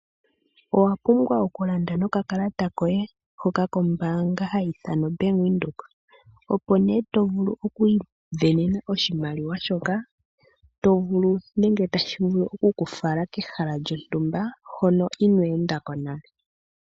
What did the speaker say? Owa pumbwa oku landa nokakalata koye kombaanga ndjoka hayi ithanwa oBank Windhoek, opo nee to vulu oku isindanena oshimaliwa shoka to vulu nenge tashi vulu oku ku fala kehala lyontumba, hono inoo enda ko nale.